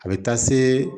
A bɛ taa se